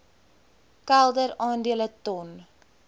kelder aandele ton